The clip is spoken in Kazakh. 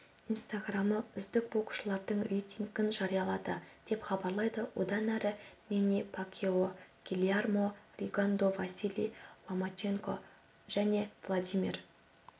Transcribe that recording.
инстаграмы үздік боксшылардың рейтингін жариялады деп хабарлайды одан әрі мэнни пакьяо гильермо ригондо василий ломаченко жәневладимир